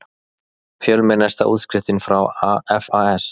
Fjölmennasta útskriftin frá FAS